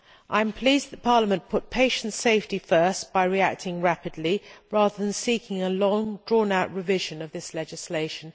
I am pleased that Parliament put patient safety first by reacting rapidly, rather than seeking a long drawn out revision of this legislation.